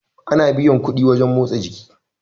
ana biyan kuɗi wajen motsa jiki